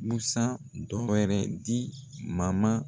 Busan dɔ wɛrɛ di Mama.